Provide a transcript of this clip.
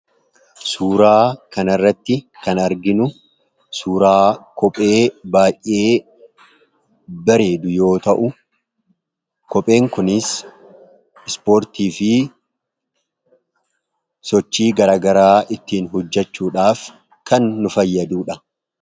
Suuraa kan irratti kan arginu, suuraa kophee baay'ee bareedu yoo ta'u, kopheen kunis ispoortii fi sochii garagaraa ittiin hojjechuudhaaf kan nu fayyadudha.